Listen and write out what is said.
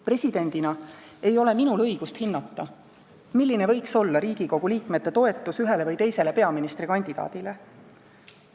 Presidendina ei ole minul õigust hinnata, milline võiks olla Riigikogu liikmete toetus ühele või teisele peaministrikandidaadile.